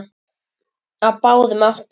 Á báðum áttum.